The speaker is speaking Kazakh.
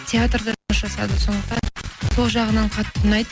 театрда жұмыс жасады сондықтан сол жағынан қатты ұнайды